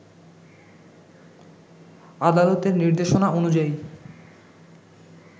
আদালতের নির্দেশনা অনুযায়ী